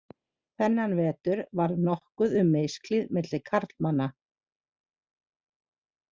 Þennan vetur varð nokkuð um misklíð milli karlmanna.